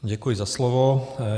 Děkuji za slovo.